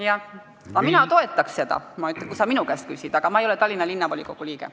Kui sa minu arvamust küsiksid, siis mina toetaksin seda, aga ma ei ole Tallinna Linnavolikogu liige.